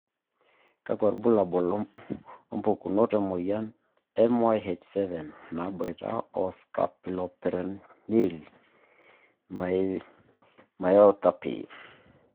Kakwa ilbulabul opukunoto emoyian MYH7 naboita o scapuloperoneal myopathy?